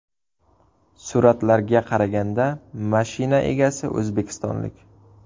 Suratlarga qaraganda, mashina egasi o‘zbekistonlik.